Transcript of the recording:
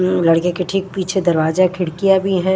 म लड़ने के ठीक पीछे दरवाजा खिड़कियां भी हैं।